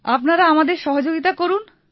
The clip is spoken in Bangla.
আপনারা আমাদের সহযোগিতা করুন